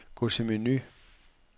Gå til menu.